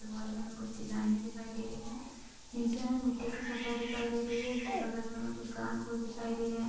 Hall में हमे कुछ डिज़ाइने दिखाई दे रही है नीचे हमे मिट्टी की सतह दिखाई दे रही है इसके बगल में हमे कुछ घाँस भुस दिखाई दे रहे है।